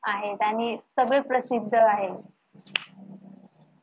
आहेत आणि सगळे प्रसिद्ध आहेत.